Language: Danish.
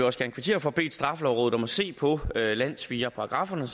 også gerne kvittere for bedt straffelovrådet om at se på landssvigerparagrafferne